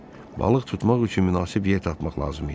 Balıq tutmaq üçün münasib yer tapmaq lazım idi.